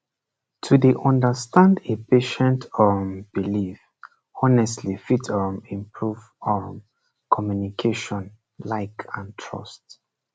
to dey understand a patient um belief honestly fit um improve um communication like and trust